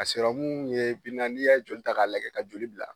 Ka serɔmu ye bi na n'i yɛ joli ta k'a lajɛ ka joli bila